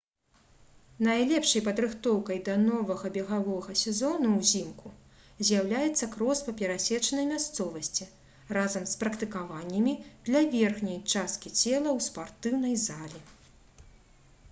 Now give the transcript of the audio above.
найлепшай падрыхтоўкай да новага бегавога сезону ўзімку з'яўляецца крос па перасечанай мясцовасці разам з практыкаваннямі для верхняй часткі цела ў спартыўнай залі